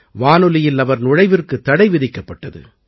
வானொலியில் அவர் நுழைவிற்குத் தடை விதிக்கப்பட்டது